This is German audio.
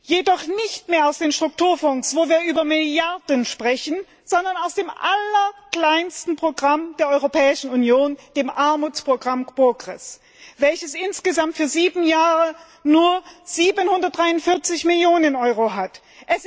Jedoch nicht mehr aus den Strukturfonds, wo wir über Milliarden sprechen, sondern aus dem allerkleinsten Programm der Europäischen Union, dem Armutsprogramm PROGRESS, welches insgesamt für sieben Jahre nur über 743 Millionen Euro verfügt.